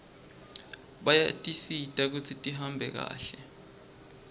bayasisita kutsi tihambe kahle